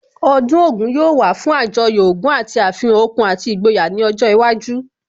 Ọdún Ògún yóò wà fún Àjọyọ̀ ogún àti àfihàn okun àti ìgboyà ní ọjọ́ iwájú